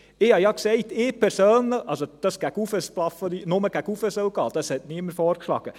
» Dass es nur nach oben gehen soll, hat niemand vorgeschlagen.